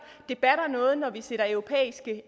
det batter noget når vi sætter europæiske